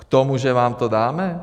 K tomu, že vám to dáme?